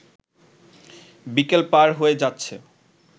বিকেল পার হয়ে যাচ্ছে